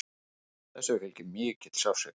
Þessu fylgir mikill sársauki.